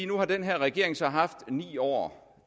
nu har den her regering så haft ni år